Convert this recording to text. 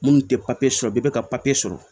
Minnu tɛ papiye sɔrɔ bɛɛ bɛ ka papiye sɔrɔ